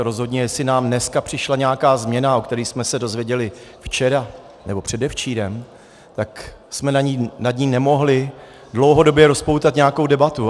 A rozhodně jestli nám dneska přišla nějaká změna, o které jsme se dozvěděli včera nebo předevčírem, tak jsme nad ní nemohli dlouhodobě rozpoutat nějakou debatu.